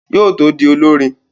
Yóò tó di olọ́rin